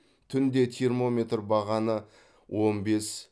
түнде термометр бағаны он бес